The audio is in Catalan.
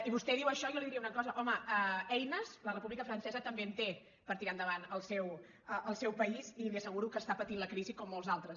i vostè diu això i jo li diria una cosa home eines la república francesa també en té per tirar endavant el seu país i li asseguro que està patint la crisi com molts altres